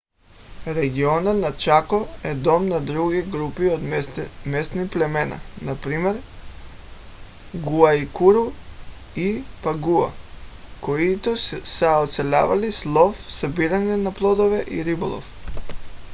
регионът на чако е дом на други групи от местни племена например гуайкуру и паягуа които са оцелявали с лов събиране на плодове и риболов